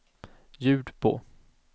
ljud på